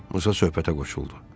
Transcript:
Musa söhbətə qoşuldu.